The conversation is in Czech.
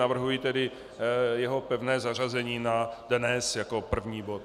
Navrhuji tedy jeho pevné zařazení na dnes jako první bod.